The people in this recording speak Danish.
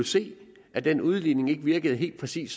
se at den udligning ikke virkede helt præcis